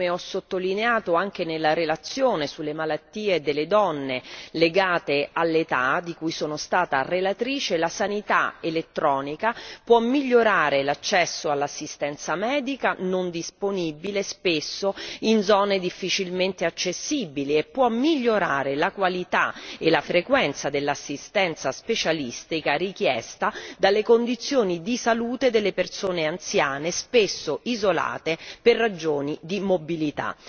Come ho sottolineato anche nella relazione sulle malattie delle donne legate all'età, di cui sono stata relatrice, la sanità elettronica può migliorare l'accesso all'assistenza medica, non disponibile spesso in zone difficilmente accessibili, e può migliorare la qualità e la frequenza dell'assistenza specialistica richiesta dalle condizioni di salute delle persone anziane, spesso isolate per ragioni di mobilità.